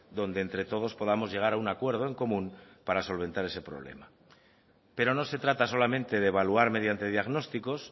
donde entre todos podamos llegar a un acuerdo en común para solventar ese problema pero no se trata solamente de evaluar mediante diagnósticos